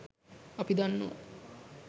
අපි දන්නව